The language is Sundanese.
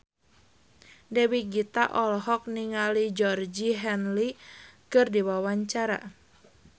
Dewi Gita olohok ningali Georgie Henley keur diwawancara